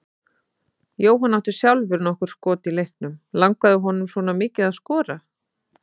Jóhann átti sjálfur nokkur skot í leiknum, langaði honum svona mikið að skora?